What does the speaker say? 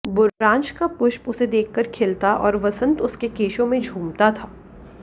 बुराँस का पुष्प उसे देखकर खिलता और वसंत उसके केशों में झूमता था